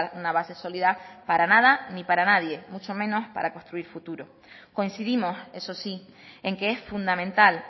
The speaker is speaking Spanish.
una base sólida para nada ni para nadie mucho menos para construir futuro coincidimos eso sí en que es fundamental